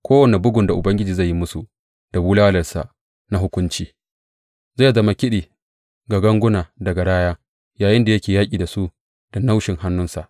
Kowane bugun da Ubangiji zai yi musu da bulalarsa na hukunci zai zama kiɗi ga ganguna da garaya, yayinda yake yaƙi da su da naushin hannunsa.